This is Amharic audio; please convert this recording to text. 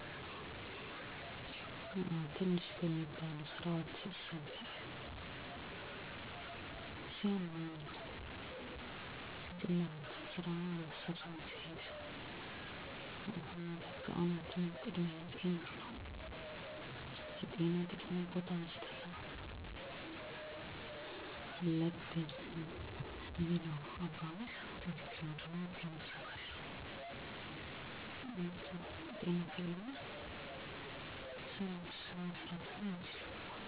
" ዋናው ጤና ነው ሌላው ሁሉ ይርሳል። " ይህን አባባል በተደጋጋሚ ብሰማውም በቤተሰብ እንደምክር ከወሬ መሀል ቢሰነዘርም ልብ ብየ አትኩሮት ሰጥቸው አላውቅም ነበር። ነገር ግን ከቆይታ በኃላ እድሜየም ሲጨምር እንዲሁም በተለያየ አጋጣሚ ሰወችን ሳገኝ ትንሽ በሚባሉ ስህተቶች እንዲሁም በቀላሉ መቀረፍ በሚችሉ ችግሮች እና ምክኒያቶች ሰወች ጤና አጥተው ከትምህርት እና ከስራ ሲቀሩ አይቻለሁ። በመሆኑም ጤናን መጠበቅ አስፈላጊ እንደሆን ተረድቻለሁ።